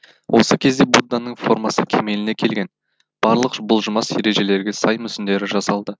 осы кезде будданың формасы кемеліне келген барлық бұлжымас ережелерге сай мүсіндері жасалды